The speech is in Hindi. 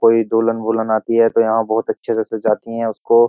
कोई दोलन-बुलन आती है तो यहां बहुत अच्छे से जाती हैं उसको --